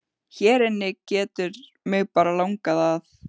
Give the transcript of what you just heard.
Hér inni getur mig bara langað að.